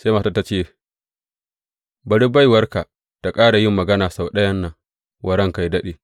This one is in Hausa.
Sai matar ta ce, Bari baiwarka ta ƙara yin magana sau ɗayan nan wa ranka yă daɗe.